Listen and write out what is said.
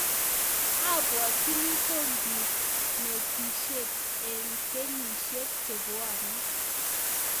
Abwatini kokikanetishet eng' kenyisiek che bwone.